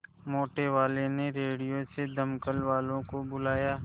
मोटेवाले ने रेडियो से दमकल वालों को बुलाया